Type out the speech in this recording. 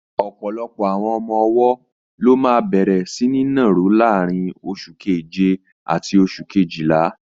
Ọ̀pọ̀lọpọ̀ àwọn ọmọ-ọwọ́ ló máa bẹ̀rẹ̀ síní nàró láàrín oṣù keje àti oṣù kejìlá